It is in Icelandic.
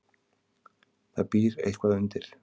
Það býr eitthvað undir.